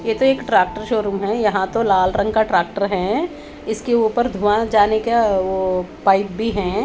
ये तो एक ट्रैक्टर शोरूम है या तो लाल रंग का ट्रैक्टर है इसके उपर धुँआ जाने का अ वो पाइप भी है।